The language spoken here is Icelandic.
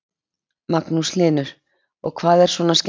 Magnús Hlynur: Og hvað er svona skemmtilegt?